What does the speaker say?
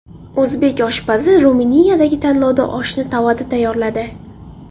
O‘zbek oshpazi Ruminiyadagi tanlovda oshni tovada tayyorladi.